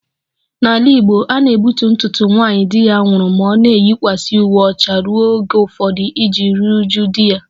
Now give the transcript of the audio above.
N'ala Igbo a na-egbutu ntutu nwaanyị di ya nwụrụ ma ọ na-eyikwasị uwe ọcha ruo oge ụfọdụ iji ruo uju di ya